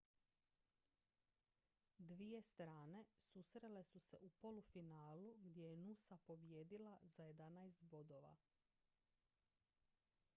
dvije strane susrele su se u polufinalu gdje je noosa pobijedila za 11 bodova